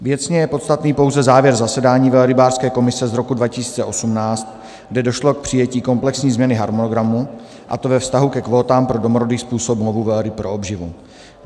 Věcně je podstatný pouze závěr zasedání velrybářské komise z roku 2018, kde došlo k přijetí komplexní změny harmonogramu, a to ve vztahu ke kvótám pro domorodý způsob lovu velryb pro obživu.